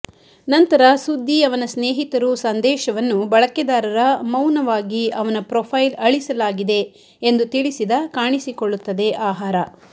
ನಂತರ ಸುದ್ದಿ ಅವನ ಸ್ನೇಹಿತರು ಸಂದೇಶವನ್ನು ಬಳಕೆದಾರರ ಮೌನವಾಗಿ ಅವನ ಪ್ರೊಫೈಲ್ ಅಳಿಸಲಾಗಿದೆ ಎಂದು ತಿಳಿಸಿದ ಕಾಣಿಸಿಕೊಳ್ಳುತ್ತದೆ ಆಹಾರ